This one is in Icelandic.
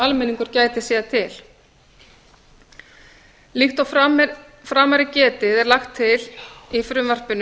almenningur gæti séð til líkt og framar er getið er lagt til í frumvarpinu